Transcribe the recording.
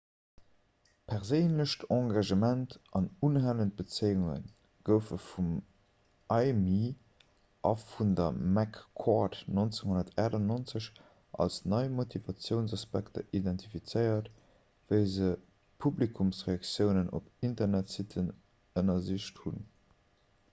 'perséinlecht engagement' an 'unhalend bezéiunge' goufe vum eighmey a vun der mccord 1998 als nei motivatiounsaspekter identifizéiert wéi se publikumsreaktiounen op internetsitten ënnersicht hunn